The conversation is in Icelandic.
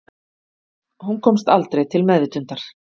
Hún komst aldrei til meðvitundar